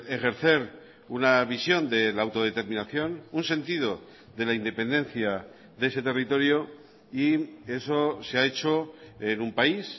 ejercer una visión de la autodeterminación un sentido de la independencia de ese territorio y eso se ha hecho en un país